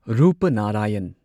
Rupnarayan